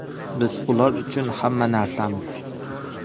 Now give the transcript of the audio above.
Biz ular uchun hamma narsamiz.